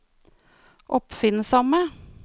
oppfinnsomme